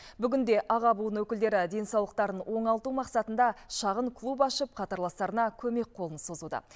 бүгінде аға буын өкілдері денсаулықтарын оңалту мақсатында шағын клуб ашып қатарластарына көмек қолын созуда